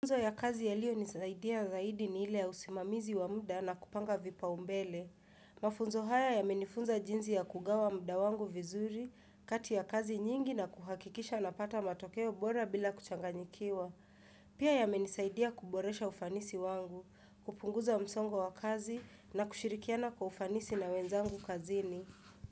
Mafunzo ya kazi yalionisaidia zaidi ni ile ya usimamizi wa muda na kupanga vipaumbele. Mafunzo haya yamenifunza jinsi ya kugawa muda wangu vizuri, kati ya kazi nyingi na kuhakikisha napata matokeo bora bila kuchanganyikiwa. Pia yamenisaidia kuboresha ufanisi wangu, kupunguza msongo wa kazi na kushirikiana kwa ufanisi na wenzangu kazini.